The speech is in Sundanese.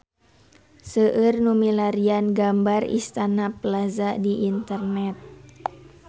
Seueur nu milarian gambar Istana Plaza di internet